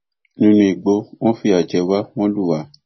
nínú igbó wọn fìyà jẹ wá wọn lù wá